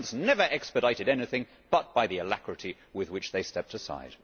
governments never expedited anything but by the alacrity with which they stepped aside.